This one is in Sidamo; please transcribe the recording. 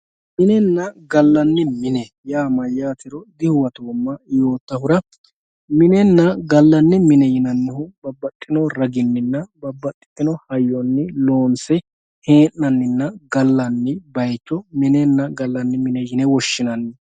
Minenna gallanni mine dihuwattomma yoottahura ,minenna gallanni mine yinannihu babbaxxino ragininna babbaxxitino hayyoni loonse hee'naninna gallanni bayicho minenna gallanni mine yine woshshinanni.